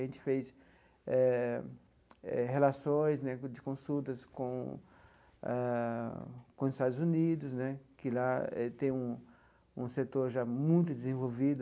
A gente fez eh eh relações né de consultas com a com os Estados Unidos né, que lá tem um um setor já muito desenvolvido,